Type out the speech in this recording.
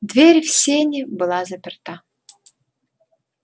дверь в сени была заперта